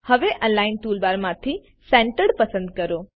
હવે અલિગ્ન ટૂલબારમાંથી સેન્ટર્ડ પસંદ કરો